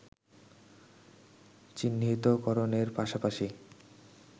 চিহ্নিতকরণের পাশাপাশি